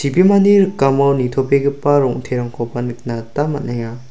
ibimani rikamo nitobegipa rong·terangkoba nikna gita man·enga.